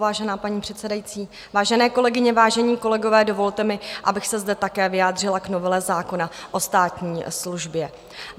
Vážená paní předsedající, vážené kolegyně, vážení kolegové, dovolte mi, abych se zde také vyjádřila k novele zákona o státní službě.